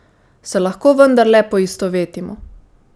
Se lahko vendarle poistovetimo?